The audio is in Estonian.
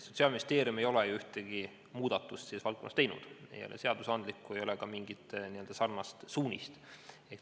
Sotsiaalministeerium ei ole selles valdkonnas ju ühtegi muudatust teinud, ei ole antud ühtegi seadusandlikku ega ka muud sarnast suunist.